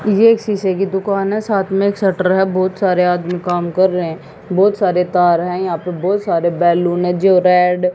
ये एक शीशे की दुकान है साथ में एक शटर है बहुत सारे आदमी काम कर रहे हैं बहुत सारे तार हैं यहां पे बहुत सारे बैलून है जो रेड --